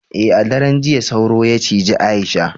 eh a daren jiya sauro ya cije Aisha